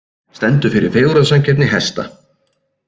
Stendur fyrir fegurðarsamkeppni hesta